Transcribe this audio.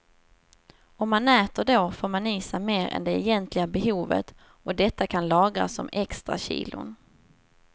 Om man äter då får man i sig mer än det egentliga behovet och detta kan lagras som extrakilon.